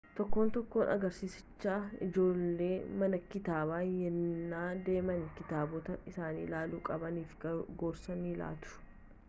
tokkoon tokkoo agarsiisichaa ijoolleen mana kitaabaa yennaa deeman kitaabota isaan ilaaluu qabaniif gorsa ni laatu